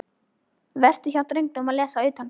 Vera hjá drengnum og lesa utanskóla.